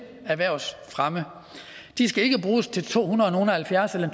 erhvervsfremme de skal ikke bruges til tohundredenogleoghalvfjerds eller